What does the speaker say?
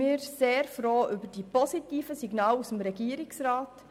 Wir sind sehr froh über die positiven Signale des Regierungsrats.